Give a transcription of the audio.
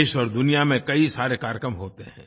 देश और दुनिया में कई सारे कार्यक्रम होते हैं